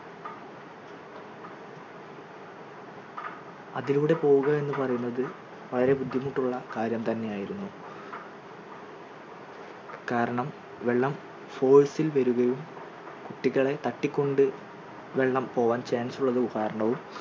അതിലൂടെ പോകുവാ എന്ന് പറയുന്നത് വളരെ ബുദ്ധിമുട്ടുള്ള കാര്യം തന്നെയായിരുന്നു കാരണം വെള്ളം force ൽ വരികയും കുട്ടികളെ തട്ടിക്കൊണ്ടു വെള്ളം പോകാൻ chance ഉള്ളത് കാരണവും